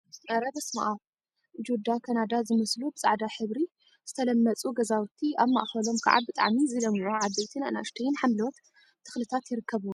አረ በስመ አብ! ጁዳ ካናዳ ዝመስሉ ብፃዕዳ ሕብሪ ዝተለመፁ ገዛውቲ አብ ማእከሎም ከዓ ብጣዕሚ ዝለምዑ ዓበይትን አናእሽተይን ሓምለዎት ተክሊታት ይርከቡዎም፡፡